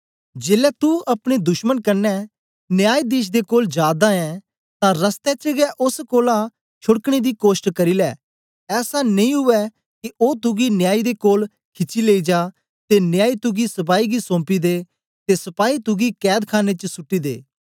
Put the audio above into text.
जेलै तू अपने दुश्मन कन्ने न्यायीधीश दे कोल जा दा ऐं तां रस्ते च गै ओस कोलां छोड़कने दी कोष्ट करी लै ऐसा नेई उवै के ओ तुगी न्यायी दे कोल खिची लेई जा ते न्यायी तुगी सपाई गी सौंपी ते सपाही तुगी कैदखाने च सुट्टी दे